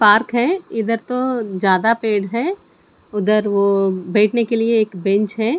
Park है इधर तो ज्यादा पेड़ है उधर वो बैठने के लिए एक बेंच है।